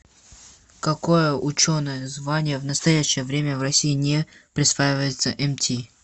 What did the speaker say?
какое ученое звание в настоящее время в россии не присваивается мти